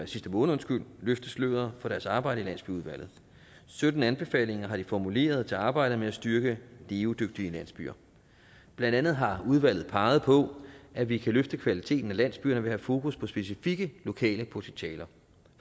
sidste måned løfte sløret for deres arbejde i landsbyudvalget sytten anbefalinger har de formuleret til arbejdet med at styrke levedygtige landsbyer blandt andet har udvalget peget på at vi kan løfte kvaliteten af landsbyerne ved at have fokus på specifikke lokale potentialer